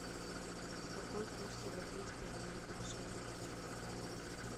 какой курс европейской валюты к шиллингу сегодня